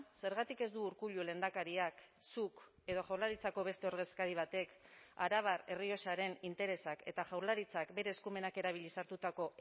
zergatik ez du urkullu lehendakariak zuk edo jaurlaritzako beste ordezkari batek arabar errioxaren interesak eta jaurlaritzak bere eskumenak erabiliz hartutako